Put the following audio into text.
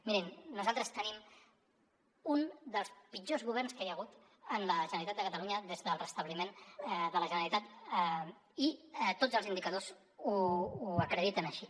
mirin nosaltres tenim un dels pitjors governs que hi ha hagut a la generalitat de catalunya des del restabliment de la generalitat i tots els indicadors ho acrediten així